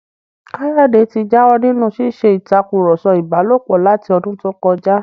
Káyọ̀dé ti jáwọ́ nínú ṣíṣe ìtakùrọ̀sọ ìbálòpọ̀ láti ọdún tó kọjá